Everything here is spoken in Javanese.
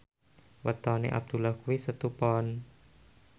wetone Abdullah kuwi Setu Pon